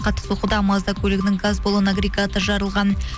қатты соққыдан мазда көлігінің газ баллоны агрегаты жарылған